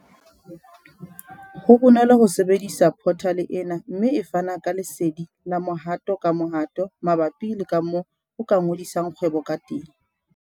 Ho bonolo ho sebedisa phothale ena mme e fana ka lesedi la mohato-kamohato mabapi le kamoo o ka ngodisang kgwebo kateng.